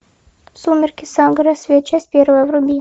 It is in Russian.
сумерки сага рассвет часть первая вруби